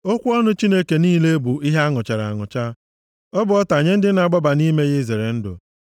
“Okwu ọnụ Chineke niile bụ ihe anụchara anụcha, Ọ bụ ọta nye ndị na-agbaba nʼime ya izere ndụ.